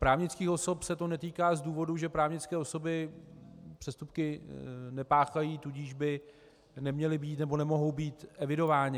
Právnických osob se to netýká z důvodu, že právnické osoby přestupky nepáchají, tudíž by neměly být nebo nemohou být evidovány.